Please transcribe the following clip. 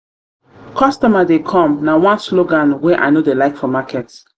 customer dey come na one slogan wey i no dey like for market.